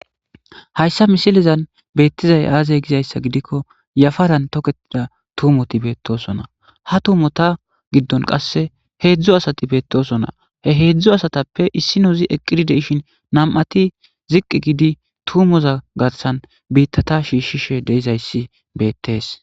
Haysa misilezan betizays aaze gizaysa gidikon yafarani toketida tumoti betosona ha tumota gidon hezdzdu asati betosona, he hezdzdu asatappe issinozi eqid de'ishn nam'ati ziqi gidi tumoza gaathani biitata shiishishe dizaysi beetesi.